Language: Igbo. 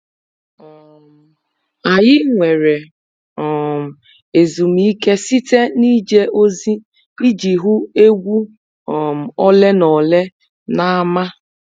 um Anyị nwere um ezumike site n'ije ozi iji hụ egwu um ole na ole n'ámá.